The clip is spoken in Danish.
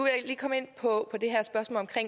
jeg lige komme ind på